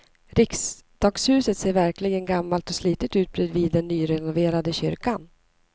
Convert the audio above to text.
Riksdagshuset ser verkligen gammalt och slitet ut bredvid den nyrenoverade kyrkan.